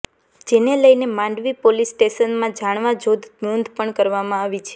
જેને લઇને માંડવી પોલીસ સ્ટેશનમાં જાણવાજોગ નોંધ પણ કરવામાં આવી છે